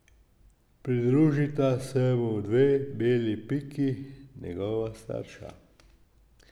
Pridružita se mu dve beli piki, njegova starša.